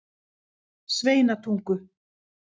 Sveinatungu